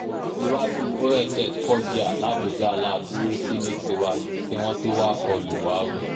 iwájú oss foggia làbújá la dúró sí ní tiwa kí wọ́n tóó wáá kọ lù wá o